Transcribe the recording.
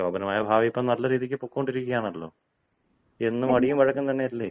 ശോഭനമായ ഭാവി ഇപ്പോൾ നല്ല രീതിയിൽ പോയിക്കൊണ്ടിരിക്കുകയാണല്ലോ. എന്നും അടിയും വഴക്കും തന്നെയല്ലേ?